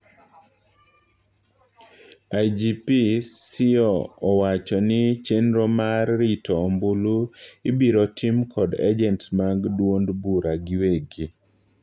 IGP Siyo owacho ni chendro mar rito ombulu ibiro tim kod ajents mag duond bura giwegi.